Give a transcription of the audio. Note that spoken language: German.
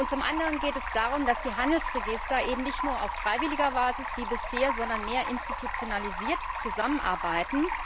Zum anderen geht es darum, dass die Handelsregister eben nicht nur auf freiwilliger Basis wie bisher, sondern mehr institutionalisiert zusammenarbeiten.